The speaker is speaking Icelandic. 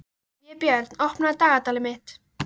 Vébjörn, opnaðu dagatalið mitt.